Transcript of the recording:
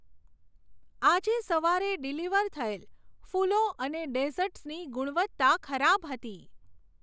આજે સવારે ડિલિવર થયેલ ફૂલો અને ડેઝર્ટસની ગુણવત્તા ખરાબ હતી.